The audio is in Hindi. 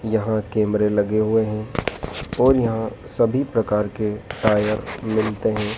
यहां कैमरे लगे हुए हैं और यहां सभी प्रकार के टायर मिलते हैं।